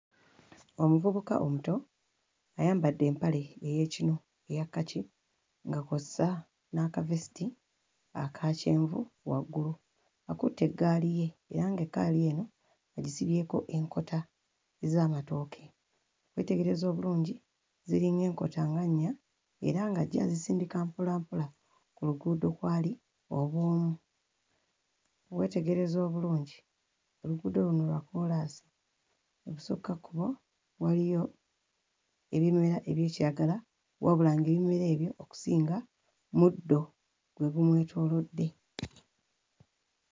Omuvubuka omuto ayambadde empale ey'ekinu eya kkaki nga kw'ossa n'akavesiti aka kyenvu waggulu akutte eggaali ye era ng'eggaali eno agisibyeko enkota z'amatooke, weetegereza obulungi ziringa enkota nga nnya era nga ajja azisindika mpola mpola ku luguudo kw'ali obw'omu. Weetegereza obulungi, oluguudo luno lwa kkoolaasi, ebusukkakkubo waliyo ebimera eby'ekiragala wabula ng'ebimera ebyo okusinga muddo gwe gumwetoolodde.